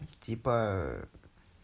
типа